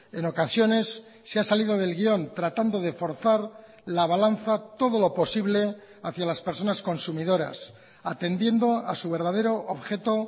en ocasiones se ha salido del guión tratando de forzar la balanza todo lo posible hacia las personas consumidoras atendiendo a su verdadero objeto